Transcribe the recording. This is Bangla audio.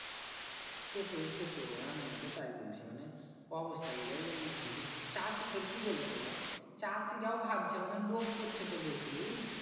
সেটই সেটই আমিও তো তাই বুলছি মানে অবস্থা গিলাই এমনি যদি চাষী দের কি বুলো তো চাষীরাও ভাবছে মানে লোভ করছে তো বেশি